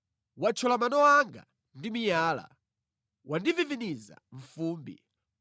Wathyola mano anga ndi miyala; wandiviviniza mʼfumbi;